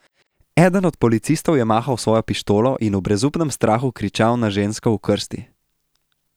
Eden od policistov je mahal s svojo pištolo in v brezupnem strahu kričal na žensko v krsti.